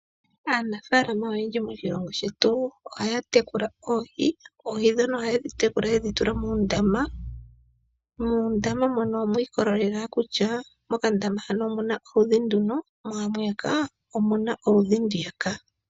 Aanafaalama oyendji moshilongo shetu ohaya tekula oohi, oohi dhono ohayedhi tekula yedhi tula moondama, muundama mono wiikolelela kutya, mokandama hano omuna oludhi nduno mo mwiyaka omuna oludhi nduyaka.